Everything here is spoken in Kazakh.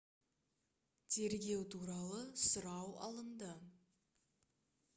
тергеу туралы сұрау алынды